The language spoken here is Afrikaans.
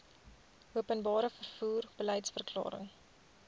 openbare vervoer beliedsverklaring